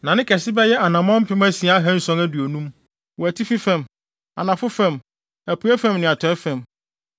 na ne kɛse bɛyɛ anammɔn mpem asia ahanson aduonum (6,750) wɔ atifi fam, anafo fam, apuei fam ne atɔe fam.